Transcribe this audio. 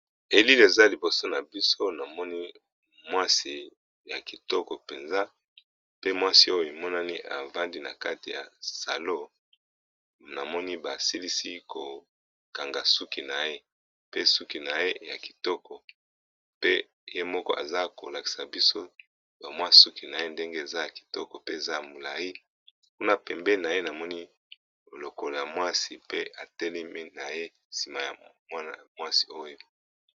Elili eza liboso nabiso namoni mwasi yakitoko penza pe mwasi oyo avandi nakati ya salon namoni basilisi ko kanga sukinaye pe sukinaye yakitoko pe yemoko azakulakisabiso bamwasukinaye ndenge eza yakitoko pe ezayamulayi kuna pembeni naye namoni lokola yamwasi pe atelemi naye sima yamwana mwasi oyo